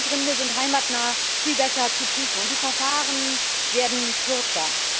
Asylgründe sind heimatnah viel besser zu prüfen und die Verfahren werden kürzer.